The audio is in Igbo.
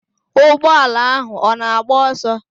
Ụgbọ ala ahụ ọ na-agba ọsọ?